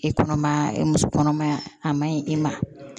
E kɔnɔmaya muso kɔnɔmaya a ma ɲi i ma